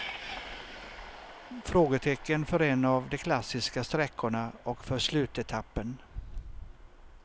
Frågetecken för en av de klassiska sträckorna och för slutetappen.